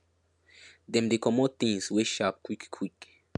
dem dey comot things wey sharp quick quick